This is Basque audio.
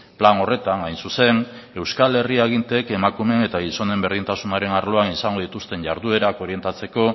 plan horretan hain zuzen euskal herri aginteek emakumeen eta gizonen berdintasunaren arloan izango dituzten jarduerak orientatzeko